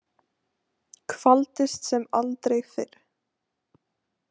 Kvaldist sem aldrei fyrr.